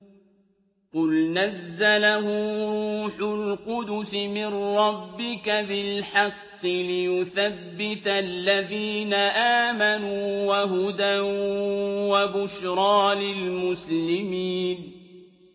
قُلْ نَزَّلَهُ رُوحُ الْقُدُسِ مِن رَّبِّكَ بِالْحَقِّ لِيُثَبِّتَ الَّذِينَ آمَنُوا وَهُدًى وَبُشْرَىٰ لِلْمُسْلِمِينَ